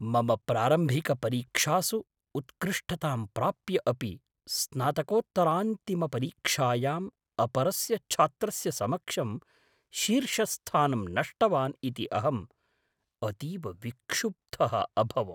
मम प्रारम्भिकपरीक्षासु उत्कृष्टतां प्राप्य अपि, स्नातकोत्तरान्तिमपरीक्षायाम् अपरस्य छात्रस्य समक्षं शीर्षस्थानं नष्टवान् इति अहम् अतीव विक्षुब्धः अभवम्।